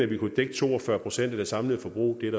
det kunne dække to og fyrre procent af det samlede forbrug det er